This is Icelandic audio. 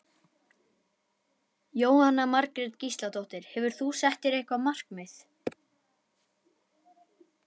Jóhanna Margrét Gísladóttir: Hefur þú sett þér eitthvað markmið?